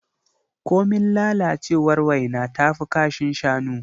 Komin lalacewar waina tafi kashin shanu.